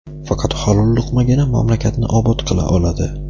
faqat halol luqmagina mamlakatni obod qila oladi.